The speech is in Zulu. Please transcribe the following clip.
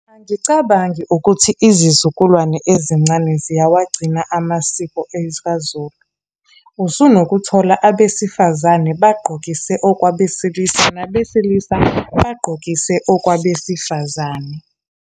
Angicabangi ukuthi izizukulwane ezincane ziyawagcina amasiko . Usunokuthola abesifazane bagqokise okwabesilisa, nabesilisa bagqokise okwabesifazane.